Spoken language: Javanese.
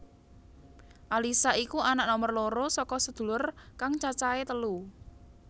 Alyssa iku anak nomer loro saka sedulur kang cacahé telu